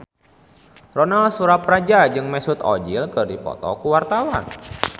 Ronal Surapradja jeung Mesut Ozil keur dipoto ku wartawan